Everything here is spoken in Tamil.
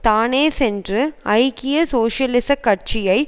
தானே சென்று ஐக்கிய சோசியலிச கட்சியை